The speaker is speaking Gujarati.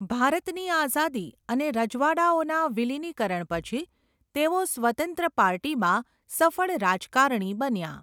ભારતની આઝાદી અને રજવાડાંઓના વિલીનીકરણ પછી, તેઓ 'સ્વતંત્ર પાર્ટી'માં સફળ રાજકારણી બન્યાં.